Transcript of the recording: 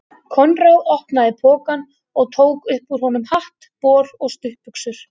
Konráð opnaði pokann og tók upp úr honum hatt, bol og stuttbuxur.